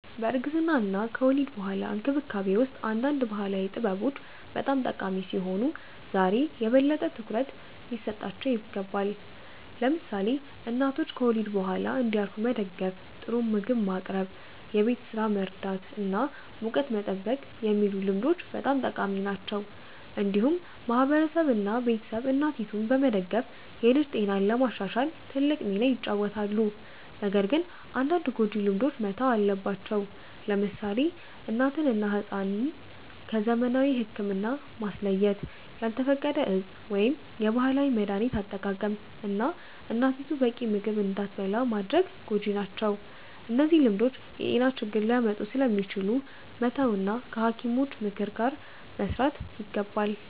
በእርግዝና እና ከወሊድ በኋላ እንክብካቤ ውስጥ አንዳንድ ባህላዊ ጥበቦች በጣም ጠቃሚ ሲሆኑ ዛሬ የበለጠ ትኩረት ሊሰጣቸው ይገባል። ለምሳሌ እናቶች ከወሊድ በኋላ እንዲያርፉ መደገፍ፣ ጥሩ ምግብ ማቅረብ፣ የቤት ስራ መርዳት እና ሙቀት መጠበቅ የሚሉ ልምዶች በጣም ጠቃሚ ናቸው። እንዲሁም ማህበረሰብ እና ቤተሰብ እናቲቱን በመደገፍ የልጅ ጤናን ለማሻሻል ትልቅ ሚና ይጫወታሉ። ነገር ግን አንዳንድ ጎጂ ልማዶች መተው አለባቸው። ለምሳሌ እናትን እና ሕፃንን ከዘመናዊ ሕክምና ማስለየት፣ ያልተፈቀደ የእፅ ወይም የባህላዊ መድሀኒት አጠቃቀም፣ እና እናቲቱ በቂ ምግብ እንዳትበላ ማድረግ ጎጂ ናቸው። እነዚህ ልማዶች የጤና ችግር ሊያመጡ ስለሚችሉ መተው እና ከሐኪሞች ምክር ጋር መስራት ይገባል።